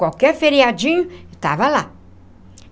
Qualquer feriadinho, eu estava lá.